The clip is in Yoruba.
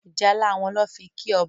ìjálá wón ló fí kí ọba.